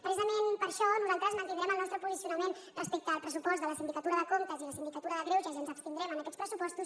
precisament per això nosaltres mantindrem el nostre posicionament respecte al pressupost de la sindicatura de comptes i el síndic de greuges i ens abstindrem en aquests pressupostos